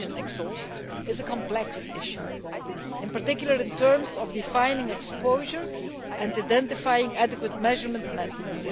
engine exhaust is a complex issue, in particular in terms of defining exposure and identifying adequate measurement methods.